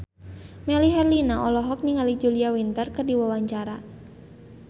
Melly Herlina olohok ningali Julia Winter keur diwawancara